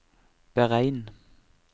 beregn